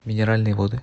минеральные воды